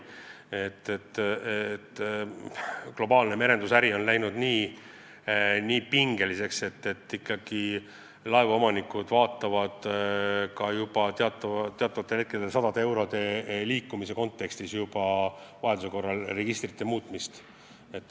Globaalne merendusäri on läinud nii pingeliseks, et laevaomanikud kaaluvad teatud tingimustel isegi vaid sadade eurode võitmisel registri muutmist.